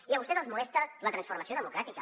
i a vostès els molesta la transformació democràtica